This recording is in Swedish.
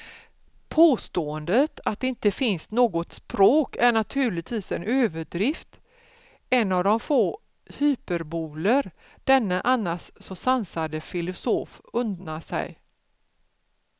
Påståendet att det inte finns något språk är naturligtvis en överdrift, en av de få hyperboler denne annars så sansade filosof unnar sig.